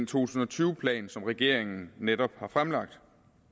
tusind og tyve plan som regeringen netop har fremlagt